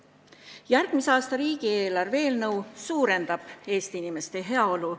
Järgmise aasta riigieelarve eelnõu eesmärk on suurendada Eesti inimeste heaolu.